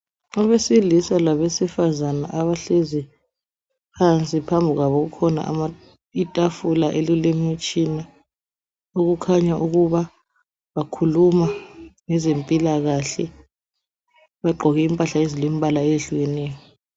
Abesilisa labesifazana abahlezi phansi phambili kwabo kukhona itafula elilemitshina okukhanya ukuba bakhuluma ngezempilakahle bagqoke impahla ezilembala eyehlukeneyo.